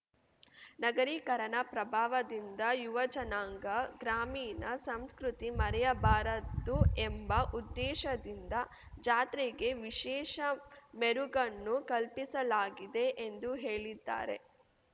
ನಗರೀಕರಣ ಪ್ರಭಾವದಿಂದ ಯುವಜನಾಂಗ ಗ್ರಾಮೀಣ ಸಂಸ್ಕೃತಿ ಮರೆಯಬಾರದು ಎಂಬ ಉದ್ದೇಶದಿಂದ ಜಾತ್ರೆಗೆ ವಿಶೇಷ ಮೆರುಗನ್ನು ಕಲ್ಪಿಸಲಾಗಿದೆ ಎಂದು ಹೇಳಿದ್ದಾರೆ